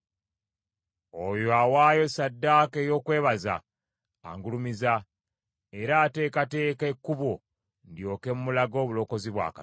Oyo awaayo ssaddaaka ey’okwebaza angulumiza, era ateekateeka ekkubo ndyoke mulage obulokozi bwa Katonda.”